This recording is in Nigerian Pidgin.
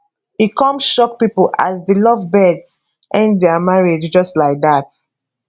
e come shock pipo as di lovebirds end dia marriage just like dat